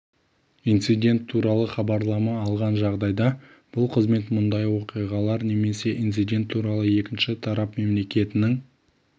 инцидент туралы хабарлама алған жағдайда бұл қызмет мұндай оқиғалар немесе инцидент туралы екінші тарап мемлекетінің